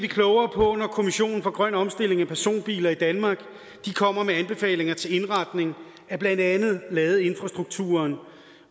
klogere på når kommissionen for grøn omstilling af personbiler i danmark kommer med anbefalinger til indretning af blandt andet ladeinfrastrukturen